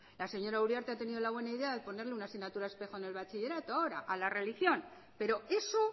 la señora uriarte ha tenido la buena idea de ponerle una asignatura espejo en el bachillerato ahora a la religión pero eso